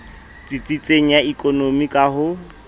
tsitsitseng ya ekonomi ka ho